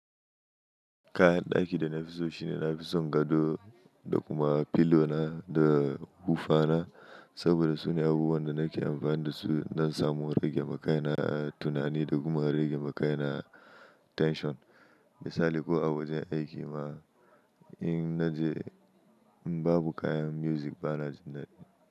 Kayan daki da na fi so, shine na fi son gado, da kuma pillow na, da hufa na. Saboda, su ne abubuwan da nake amfani da su nan samo rage makayi na tunani da kuma rage makayi na tension. Misali ko a wajen aiki ma in naje, in babu kayan music, bana jin daɗi.